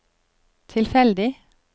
tilfeldig